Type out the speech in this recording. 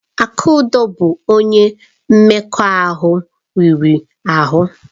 Akudo bụ onye mmekọahụ riri ahụ.